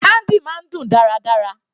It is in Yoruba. Candy máa ń dùn dáradára.